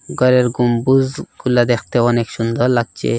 ঘরের গম্বুজগুলা দেখতে অনেক সুন্দর লাগছে।